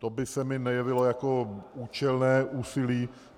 To by se mi nejevilo jako účelné úsilí.